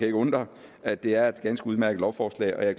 ikke undre at det er et ganske udmærket lovforslag og jeg